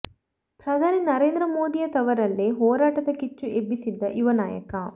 ಪ್ರಧಾನಿ ನರೇಂದ್ರ ಮೋದಿಯ ತವರಲ್ಲೇ ಹೋರಾಟದ ಕಿಚ್ಚು ಎಬ್ಬಿಸಿದ್ದ ಯುವ ನಾಯಕ